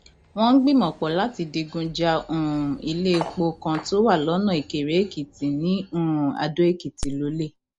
wọn gbìmọpọ láti digun ja um iléèpò kan tó wà lọnà ìkéréèkìtì ní um àdóèkìtì lọlẹ